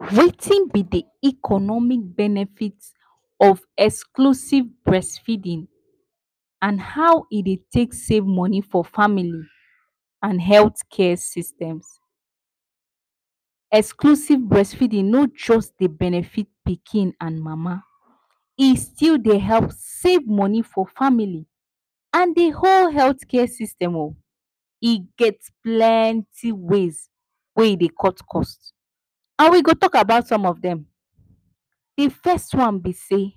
Wetin be de economic benefit of exclusive breastfeeding and how e dey take save money for family and health care systems. Exclusive breastfeeding no just dey benefit pikin and mama e still dey help save money for family and the whole health care system o. E get plenty ways wey e dey cut cost and we go talk about some of them. De first one be sey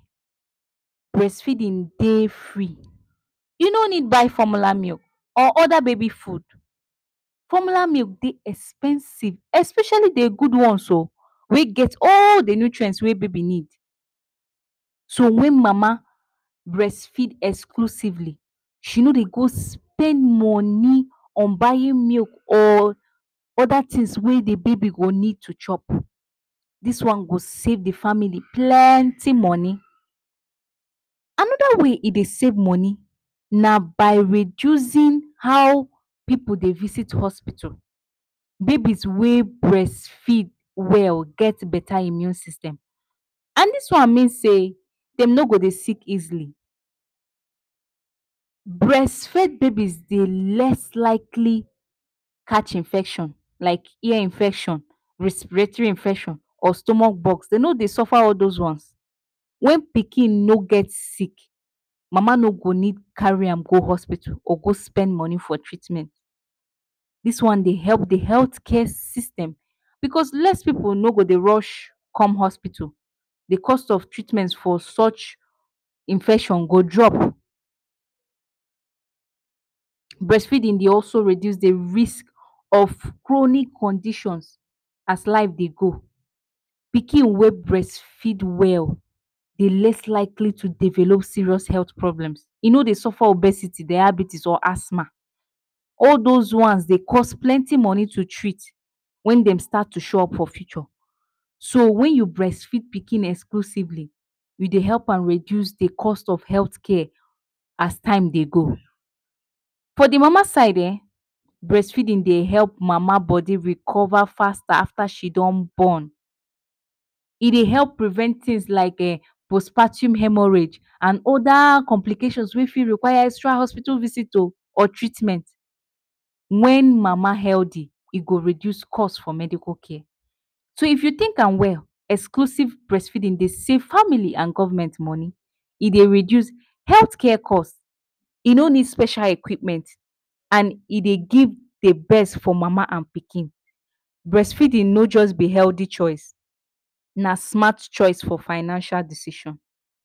breastfeeding dey free, you need to buy formula milk or other baby food. Formula milk dey expensive, especially de good ones wey get all de nutrient wey de baby need. So, when mama breastfeed exclusively, she no dey go spend her money on buying milk or other things wey de baby go need to chop, did one go save de family plenty money. Another way e dey save money na by reducing how people dey visit hospital. Babies wey breastfeed well get better immune system. And dis one mean sey dem no go dey sick easily. Breastfed babies dey less likely catch infection like ear infection, respiratory infection, or stomach box. Dem no dey suffer all these ones, when pikin no get sick, mama no go need carry am go hospital go go spend money for treatment. Dis one dey help de health care system, because less people no go dey rush come hospital. De cost of treatment for such infection go drop. Breastfeeding dey also reduce de risk of chronic conditions as life dey go. Pikin wey breastfeed well, dey less likely to develop serious health problems. E no dey suffer obesity, diabetes or asthma. All those ones dey cost plenty money to treat when dey start to show up for future. So when yo breastfeed pikin exclusively, you dey help am reduce the cost of health care as time dey go. For de mama side um, breastfeeding dey help mama body recover faster ater she don born. E dey help prevent things like um postpartum haemorrhage and other complications wey fit require extra hospital visit o or treatment. Wen mama healthy e go reduce cost for medical care. So if you think am well, exclusive breastfeeding dey save family and government money, e dey reduce health care cost, e no need special equipment and e give the best for mama and pikin. Breastfeeding no just be healthy choice na smart choice for financial decision.